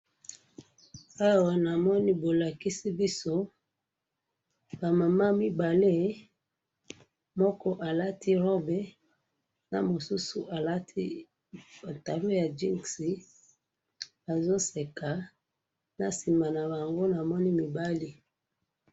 Awa namoni bolakisi biso ba mamans mibale ,moko alati robe na mosusu alati pantalon ya jeans bazo seka na sima na bango namoni mobali